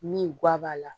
Min guwan b'a la